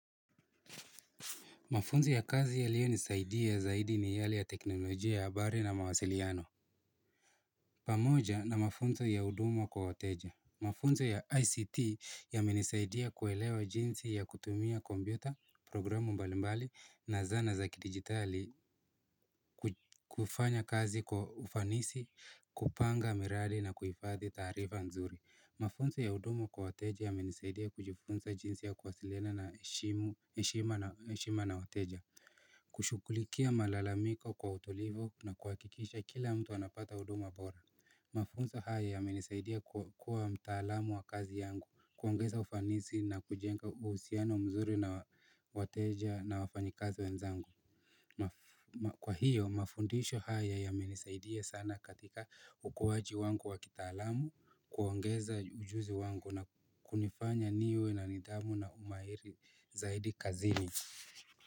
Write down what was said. Mafunzoiya kazi yaliyo nisaidia zaidi ni yale ya teknolojia ya habari na mawasiliano. Pamoja na mafunzo ya huduma kwa wateja. Mafunzo ya ICT yamenisaidia kuelewa jinsi ya kutumia kompyuta, programu mbalimbali na zana za kidigitali kufanya kazi kwa ufanisi, kupanga miradi na kuifathi tarifa nzuri. Mafunza ya hudumu kwa wateja yamenisaidia kujifunza jinsi ya kuwasiliana na heshima na wateja kushughulikia malalamiko kwa utolivo na kuhakikisha kila mtu anapata udumo bora Mafunza haya ya menisaidia kuwa mtaalamu wa kazi yangu kuongeza ufanisi na kujenga usiano mzuri na wateja na wafanyikazi wenzangu Kwa hiyo mafundisho haya ya menisaidie sana katika ukuwaji wangu wa kita alamu kuangeza ujuzi wangu na kunifanya niwe na nidhamu na umairi zaidi kazini.